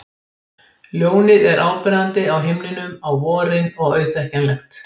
Ljónið er áberandi á himninum á vorin og auðþekkjanlegt.